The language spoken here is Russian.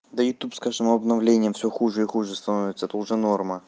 да и тут с каждым обновлением всё хуже и хуже становится это уже норма